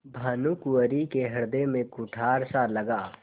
भानुकुँवरि के हृदय में कुठारसा लगा